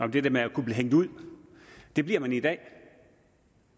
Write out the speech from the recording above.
det der med at kunne blive hængt ud det bliver man i dag